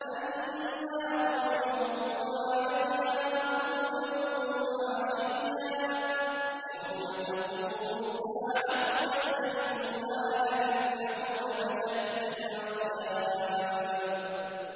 النَّارُ يُعْرَضُونَ عَلَيْهَا غُدُوًّا وَعَشِيًّا ۖ وَيَوْمَ تَقُومُ السَّاعَةُ أَدْخِلُوا آلَ فِرْعَوْنَ أَشَدَّ الْعَذَابِ